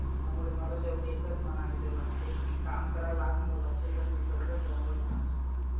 त्यामुळे मला शेवटी एकच म्हणावेसे वाटते की काम करा लाख मोलाचे पण निसर्ग संवर्धनाचे.